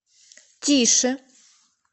тише